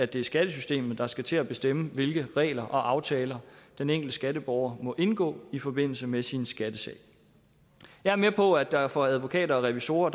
det er skattesystemet der skal til at bestemme hvilke regler og aftaler den enkelte skatteborger må indgå i forbindelse med sin skattesag jeg er med på at der for advokater og revisorer